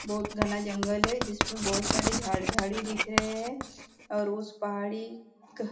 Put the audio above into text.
बहुत घना जंगल है जिसमें बहुत सारी झाड़ झाड़ी दिख रहे है और उस पहाड़ी का --